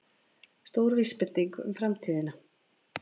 Stór vísbending um framtíðina